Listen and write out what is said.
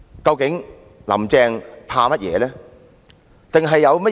究竟"林鄭"在害怕甚麼？